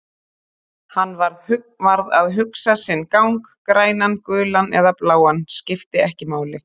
Hann varð að hugsa sinn gang, grænan, gulan eða bláan, skipti ekki máli.